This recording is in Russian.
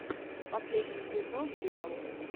последний эпизод диал